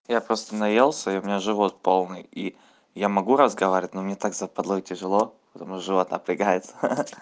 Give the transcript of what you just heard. я просто наелся и у меня живот полный и я могу разговаривать но мне так западло и тяжело потому что живот напрягается ха-ха